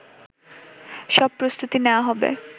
সব প্রস্তুতি নেওয়া হবে